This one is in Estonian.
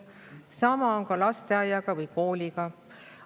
Sama on ka lasteaia või kooliga.